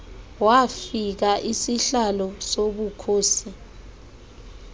wafika isihlalo sobukhosi